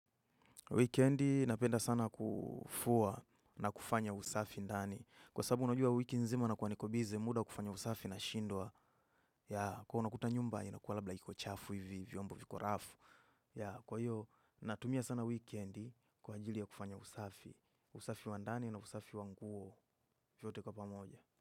Wikendi napenda sana kufua na kufanya usafi ndani. Kwa sabu unajua wiki nzima nakua nikobize muda wa kufanya usafi na shindwa. Kwa unakuta nyumba, inakua labla iko chafu hivi, vyombo viko rafu. Kwa hiyo, natumia sana wikendi kwa ajili ya kufanya usafi. Usafi wa ndani na usafi wa nguo vyote kwa pamoja.